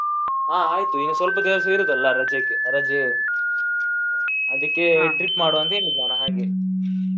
ಹಾ ಆಯ್ತು. ಇನ್ನು ಸ್ವಲ್ಪ ದಿವಸ ಇರುದಲ್ಲ ರಜೆಗೆ ರಜೆ. trip ಮಾಡ್ವ ಅಂತ ಹೇಳಿದ್ದು ನಾನು ಹಾಗೆ.